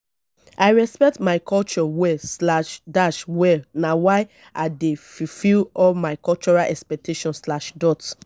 i respect my culture well slash dash well na why i dey fulfil all my cultural expectations slash dot